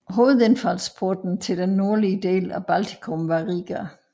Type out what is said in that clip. Hovedindfaldsporten til den nordlige del af Baltikum var Riga